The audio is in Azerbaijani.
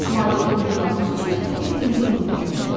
Malik olduqlarınız üçün elə indi minnətdar olun.